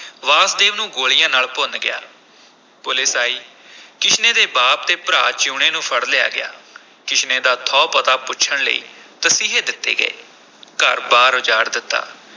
ਵਾਸਦੇਵ ਨੂੰ ਗੋਲੀਆਂ ਨਾਲ ਭੁੰਨ ਗਿਆ, ਪੁਲਿਸ ਆਈ ਕਿਸ਼ਨੇ ਦੇ ਬਾਪ ਅਤੇ ਭਰਾ ਜੀਊਣੇ ਨੂੰ ਫੜ ਲਿਆ ਗਿਆ ਕਿਸ਼ਨੇ ਦਾ ਥਹੁ ਪਤਾ ਪੁੱਛਣ ਲਈ ਤਸੀਹੇ ਦਿੱਤੇ ਗਏ ਘਰ-ਬਾਰ ਉਜਾੜ ਦਿੱਤਾ।